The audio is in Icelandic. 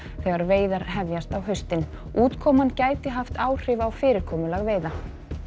þegar veiðar hefjast á haustin útkoman gæti haft áhrif á fyrirkomulag veiða